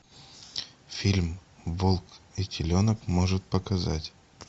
фильм волк и теленок может показать